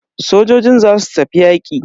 Sojojin zasu tafi yaƙi.